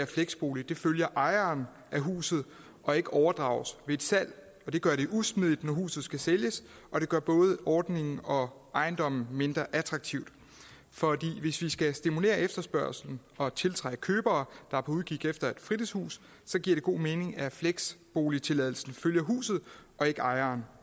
fleksbolig følger ejeren af huset og ikke overdrages ved et salg det gør det usmidigt når huset skal sælges og det gør både ordningen og ejendommen mindre attraktiv for hvis vi skal stimulere efterspørgslen og tiltrække købere der er på udkig efter et fritidshus så giver det god mening at fleksboligtilladelsen følger huset og ikke ejeren